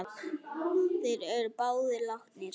Þeir eru báðir látnir.